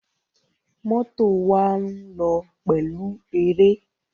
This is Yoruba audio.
Mọ́tò wa ń lọ pẹ̀lú eré.